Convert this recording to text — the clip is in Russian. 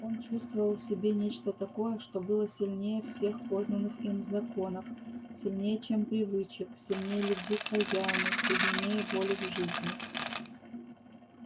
он чувствовал в себе нечто такое что было сильнее всех познанных им законов сильнее чем привычек сильнее любви к хозяину сильнее воли к жизни